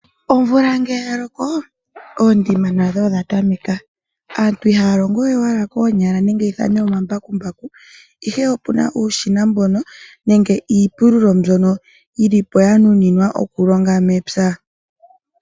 Omvula ngele ya loko oondima nadho odha tameka, aantu ihaya longo we owala koonyala nenge ya ithane omambakumbaku, ihe opu na uushina mbono, nenge iipululo mbyono yi li po ya nuninwa okulonga mepya.